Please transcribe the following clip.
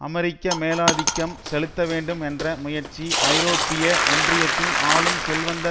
அமெரிக்க மேலாதிக்கம் செலுத்த வேண்டும் என்ற முயற்சி ஐரோப்பிய ஒன்றியத்தின் ஆளும் செல்வந்த